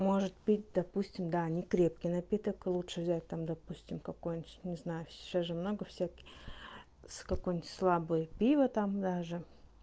может быть допустим да не крепкий напиток лучше взять там допустим какой-нибудь не знаю сейчас же много всяких с какой-нибудь слабое пиво там даже